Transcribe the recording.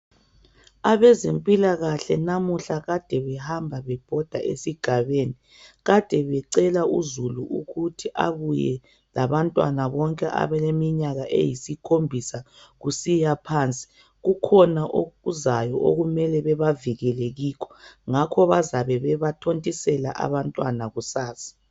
Abezempilakahle namuhla kade behamba bebhoda esigabeni. Kade becela uzulu ukuthi abuye labantwana bonke abaleminyaka eyisikhombisa kusiya phansi. Kukhona okuzayo okumele bebavikele kikho ngakho bazabe bebathontisela abantwana kusasa.